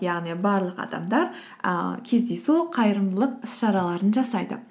яғни барлық адамдар ыыы кездейсоқ қайырымдылық іс шараларын жасайды